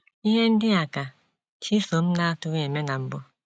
Ihe ndị a ka Chisom na - agatụghị eme na mbụ!